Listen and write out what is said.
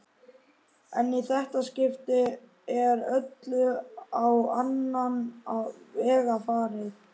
En í þetta skipti er öllu á annan veg farið.